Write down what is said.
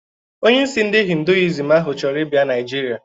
Onyeisi ndi hinduism ahụ chọrọ ịbịa Naịjirịa